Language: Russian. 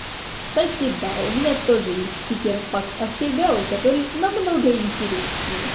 кстати да у меня тоже есть стикерпак охигэу который намного интереснее